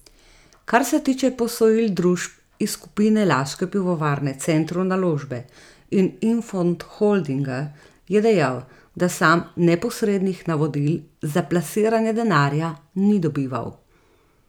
Kar se tiče posojil družb iz skupine laške pivovarne Centru Naložbe in Infond Holdinga, je dejal, da sam neposrednih navodil za plasiranje denarja ni dobival.